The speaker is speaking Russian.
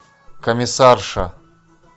комиссарша